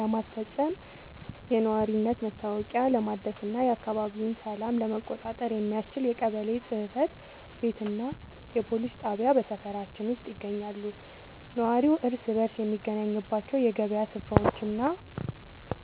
ለማስፈጸም፣ የነዋሪነት መታወቂያ ለማደስና የአካባቢውን ሰላም ለመቆጣጠር የሚያስችል የቀበሌ ጽሕፈት ቤትና የፖሊስ ጣቢያ በሰፈራችን ውስጥ ይገኛሉ። ነዋሪው እርስ በርስ የሚገናኝባቸው የገበያ ሥፍራዎችና